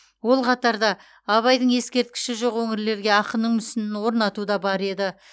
ол қатарда абайдың ескерткіші жоқ өңірлерге ақынның мүсінін орнату да бар еді